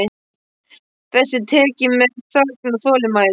Þessu er tekið með þögn og þolinmæði.